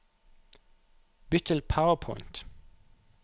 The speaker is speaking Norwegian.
Bytt til PowerPoint